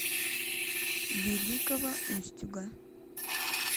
великого устюга